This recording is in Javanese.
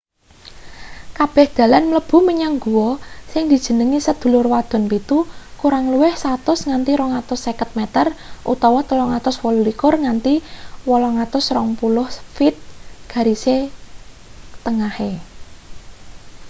kabeh dalan mlebu menyang guwa sing dijenengi sedulur wadon pitu” kurang luwih 100 nganti 250 meter 328 nganti 820 feet garis tengahe